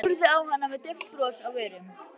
Horfði á hana með dauft bros á vörunum.